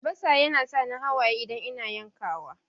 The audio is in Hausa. Albasa yana sa ni hawaye idan ina yankawa.